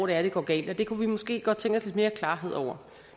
er det går galt det kunne vi måske godt tænke os mere klarhed over